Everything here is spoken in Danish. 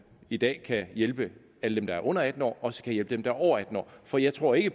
i dag kan hjælpe alle dem der er under atten år også kan hjælpe dem som er over atten år for jeg tror ikke